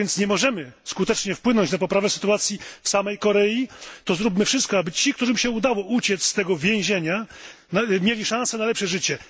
Skoro więc nie możemy skutecznie wpłynąć na poprawę sytuacji w samej Korei, to zróbmy wszystko, aby ci, którym się udało uciec z tego więzienia, mieli szansę na lepsze życie.